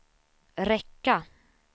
räcka